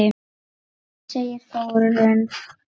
segir Þórunn.